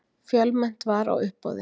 Fjölmennt var á uppboði